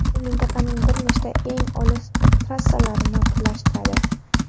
U mintaqaning bir nechta eng olis trassalarini birlashtiradi.